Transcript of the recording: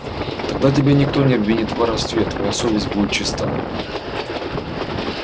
тогда тебя никто не обвинит в воровстве твоя совесть будет чиста